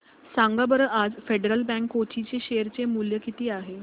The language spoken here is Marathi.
सांगा बरं आज फेडरल बँक कोची चे शेअर चे मूल्य किती आहे